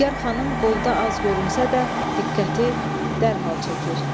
Nigar xanım qolda az görünsə də, diqqəti dərhal çəkir.